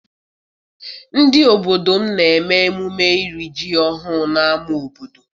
Ndị obodo m na-eme emume iri ji ọhụụ n'ama obodo.